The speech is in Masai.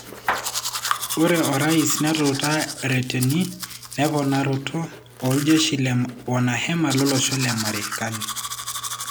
Ore orais netuta reteni nemponaroto oljeshi le wanahema lolosho le Marekani.